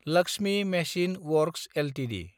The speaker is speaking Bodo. Lakshmi machine works Ltd